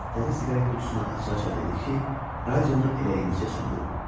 X təzə siqaret qutusunu aça-aça dedi ki, radionu elə indicə söndürüb.